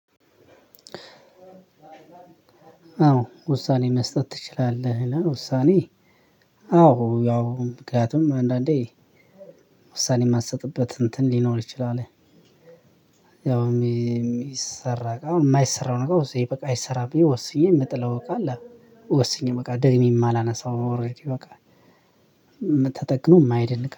አዎ ውሳኔ መስጠት ትችላለህ? ውሳኔ አዎ ያው ምክንያቱም አንዳንዴ ውሳኔ የማትሰጥበት እንትን ሊኖር ይችላል ያው የሚሰራ እቃ የማይሰራውን ነገር በቃ አይሰራም ብዬ ወስኜ የምጥለው እቃ አለ። ወስኜ በቃ ደግሜም እማላነሳሳው ኦረዲ በቃ ተጠግኖ የማይደንቅ